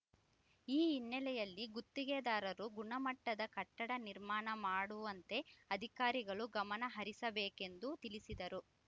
ಈ ಹಿನ್ನೆಲೆಯಲ್ಲಿ ಗುತ್ತಿಗೆದಾರರು ಗುಣಮಟ್ಟದ ಕಟ್ಟಡ ನಿರ್ಮಾಣ ಮಾಡುವಂತೆ ಅಧಿಕಾರಿಗಳು ಗಮನಹರಿಸಬೇಕು ಎಂದು ತಿಳಿಸಿದರು